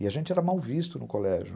E a gente era mal visto no colégio.